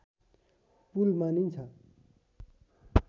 पुल मानिन्छ